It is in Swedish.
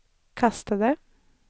kastade